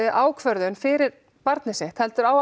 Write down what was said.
ákvörðun fyrir barnið sitt heldur á